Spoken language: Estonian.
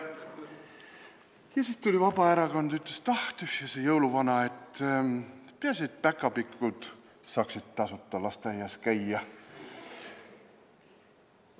Ja siis tuli Vabaerakond ja ütles, et tühja sest jõuluvanast, peaasi et päkapikud saaksid tasuta lasteaias käia.